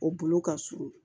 O bolo ka surun